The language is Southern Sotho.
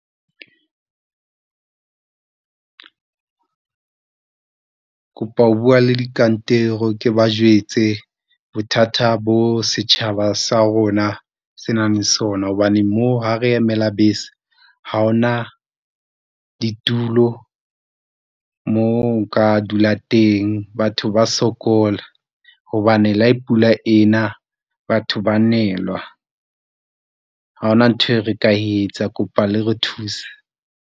Ke kopa ho bua le dikantoro ke ba jwetse bothata bo setjhaba sa rona se nang le sona hobane mo ha re emela bese, ha hona ditulo, mo nka dula teng. Batho ba sokola hobane la pula ena batho ba nelwa ha ona ntho e re ka etsa kopa le re thusa.